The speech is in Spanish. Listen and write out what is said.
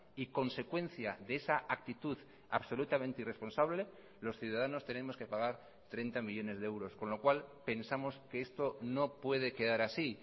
y consecuencia de esa actitud absolutamente irresponsable los ciudadanos tenemos que pagar treinta millónes de euros con lo cual pensamos que esto no puede quedar así